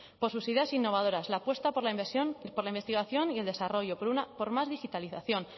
por sus ideas innovadoras la apuesta por la investigación y el desarrollo por más digitalización